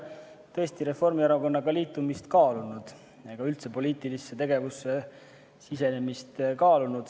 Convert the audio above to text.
Ma tõesti ei ole Reformierakonnaga liitumist ega üldse poliitilisse tegevusse sisenemist kaalunud.